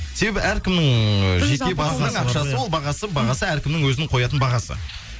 себебі әркімнің ыыы жеке басының ақшасы ол бағасы бағасы әркімнің өзінің қоятын бағасы